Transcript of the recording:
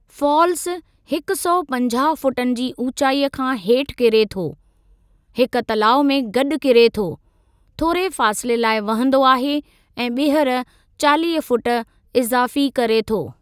Falls हिकु सौ पंजाहु फुटनि जी ऊचाई खां हेठि किरे थो, हिकु तलाउ में गॾु किरे थो, थोरे फ़ासले लाइ वहंदो आहे ऐं ॿीहर चालीह फुट इज़ाफ़ी करे थो।